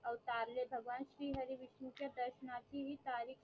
अवतारले भावगवान श्री हरी विष्णू ची दर्शनाची हि तारीख